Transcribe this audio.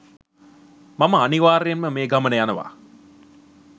මම අනිවාර්යයෙන්ම මේ ගමන යනවා.